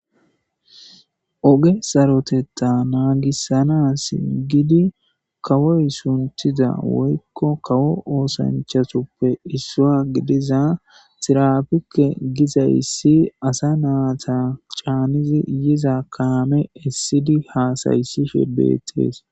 oge sarotetta naagissanaas gidi kawoy suntiza woykko kawo oosanchasoppe issua gidiza xirapikke giza issi asa naata caanizi yiza kaame essidi haasayssishe beettees